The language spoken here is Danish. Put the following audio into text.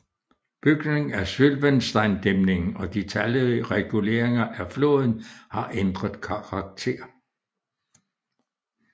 Bygningen af Sylvensteindæmningen og de talrige reguleringer af floden har ændret dens karakter